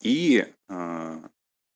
и